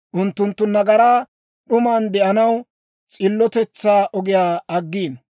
Unttunttu nagaraa d'uman de'anaw, s'illotetsaa ogiyaa aggiino.